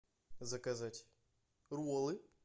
заказать роллы